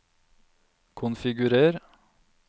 konfigurer